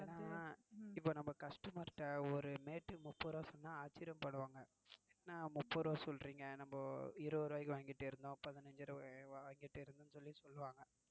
ஏன்னா நம்ம customers கிட்ட ஒரு mat முப்பது ரூபாய் சொன்ன ஆச்சரியப்படுவாங்க என்ன முப்பது ரூபா சொல்றீங்க நாம இருபது ரூபா வாங்கிட்டுஇருந்தோம் பதினஞ்சு ரூபாய்க்கு வாங்கிட்டு இருந்தோம்ன்னு சொல்லி சொல்லுவாங்க.